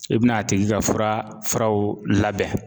I bɛna a tigi ka fura furaw labɛn.